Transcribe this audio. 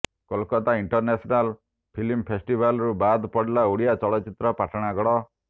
Kolkata international film ଫେଷ୍ଟିବାଲରୁ ବାଦ ପଡ଼ିଲା ଓଡ଼ିଆ ଚଳଚିତ୍ର ପାଟଣାଗଡ